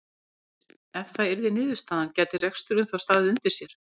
Heimir: Ef það yrði niðurstaðan gæti reksturinn þá staðið undir sér?